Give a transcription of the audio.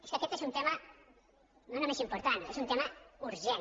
és que aquest és un tema no només important és un tema urgent